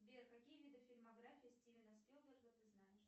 сбер какие виды фильмографии стивена спилберга ты знаешь